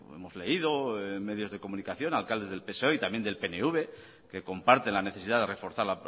hemos leído en medios de comunicación alcaldes del psoe y también del pnv que comparten la necesidad de reforzar